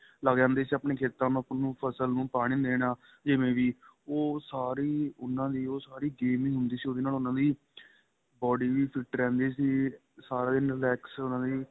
ਤੇ ਲੱਗ ਜਾਂਦੇ ਸੀ ਆਪਣੀ ਖੇਤਾਂ ਤੇ ਆਪਣੀ ਫ਼ਸਲ ਨੁੰ ਪਾਨੀ ਦੇਣਾ ਜਿਵੇਂ ਵੀ ਉਹ ਸਾਰੇ ਹੀ ਉਹਨਾ ਦੀ ਸਾਰੀ game ਹੀ ਹੁੰਦੀ ਸੀ ਉਹਵੀ ਨਾ ਉਹਨਾ ਦੀ body ਵੀ fit ਰਹਿੰਦੀ ਸੀ ਸਾਰਾ ਦਿਨ relax ਉਹਨਾ ਨੇ